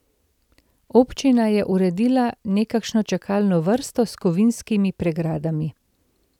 Občina je uredila nekakšno čakalno vrsto s kovinskimi pregradami.